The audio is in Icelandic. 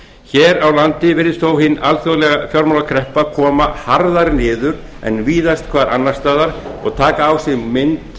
hér á landi virðist þó hin alþjóðlega fjármálakreppa koma harðar niður en víðast hvar annars staðar og taka á sig mynd